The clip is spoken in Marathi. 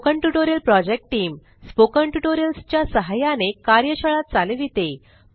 spoken tutorial project team spoken tutorials च्या सहाय्याने कार्यशाळा चालविते